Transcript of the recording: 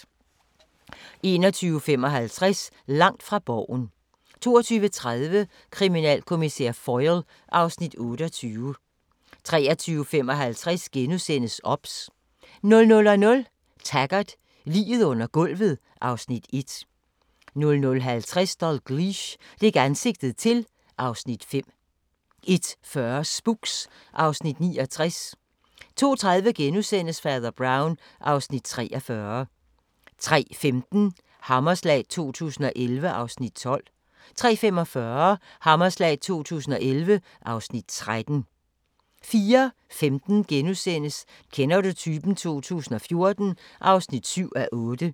21:55: Langt fra Borgen 22:30: Kriminalkommissær Foyle (Afs. 28) 23:55: OBS * 00:00: Taggart: Liget under gulvet (Afs. 1) 00:50: Dalgliesh: Dæk ansigtet til (Afs. 5) 01:40: Spooks (Afs. 69) 02:30: Fader Brown (Afs. 43)* 03:15: Hammerslag 2011 (Afs. 12) 03:45: Hammerslag 2011 (Afs. 13) 04:15: Kender du typen? 2014 (7:8)*